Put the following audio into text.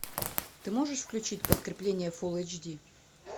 ты можешь включить подкрепление фулл эйч ди